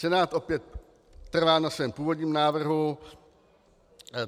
Senát opět trvá na svém původním návrhu.